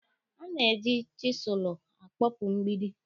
A na-eji chisụlụ akpọpụ mgbidi.